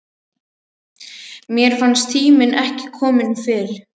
Mér fannst tíminn ekki kominn fyrr.